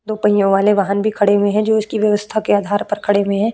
दो पहियों वाले वाहन भी खड़े हुए हैं जो इसकी व्यवस्था के आधार पर खड़े हुए हैं।